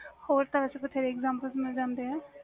ਹੋਰ ਤਰਾਂ ਦੇ ਬਥੇਰੇ example ਮਿਲ ਜਾਂਦੇ ਨੇ